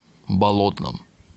болотном